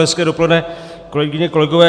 Hezké dopoledne, kolegyně, kolegové.